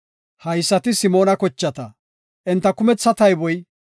Haysati Simoona kochata; enta kumetha tayboy 22,200.